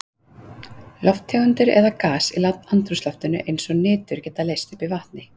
Lofttegundir eða gös í andrúmsloftinu eins og nitur geta leyst upp í vatni.